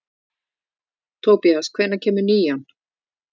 Tobías, hvenær kemur nían?